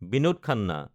Binod Khanna